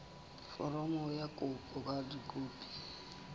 foromo ya kopo ka dikopi